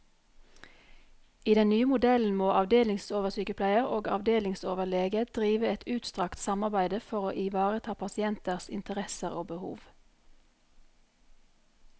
I den nye modellen må avdelingsoversykepleier og avdelingsoverlege drive et utstrakt samarbeide for å ivareta pasienters interesser og behov.